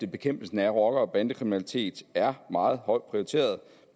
bekæmpelsen af rocker og bandekriminalitet er meget højt prioriteret